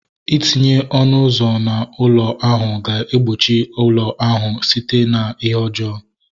Itinye ọnụ ụzọ na ụlọ ahu ga egbochi ụlọ ahu site na ihe ọjọọ